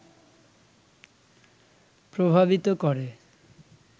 প্রভাবিত করে